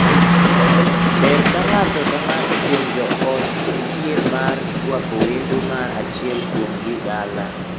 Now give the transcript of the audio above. Ber ka ng'ato ka ng'ato kuom joot nitie mar ruako wendo mar achiel kuomgi dala.